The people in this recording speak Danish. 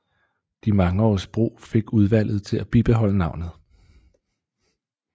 De mange års brug fik udvalget til at bibeholde navnet